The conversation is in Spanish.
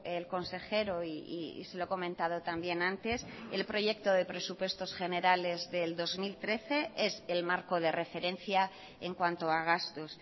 el consejero y se lo he comentado también antes el proyecto de presupuestos generales del dos mil trece es el marco de referencia en cuanto a gastos